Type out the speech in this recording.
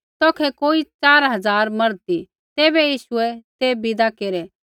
तौखै कोई च़ार हज़ार मर्द ती तैबै यीशुऐ ते विदा केरै